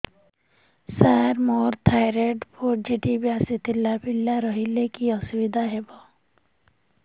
ସାର ମୋର thyroid positive ଆସିଥିଲା ପିଲା ରହିଲେ କି ଅସୁବିଧା ହେବ